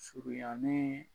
Surunyannen